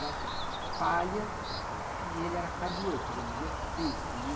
Botam a palha... E ele era carvoeiro, quer dizer, ele vivia preto, né?